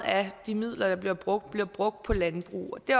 af de midler der bliver brugt bliver brugt på landbrug og det